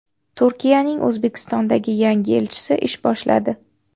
Turkiyaning O‘zbekistondagi yangi elchisi ish boshladi.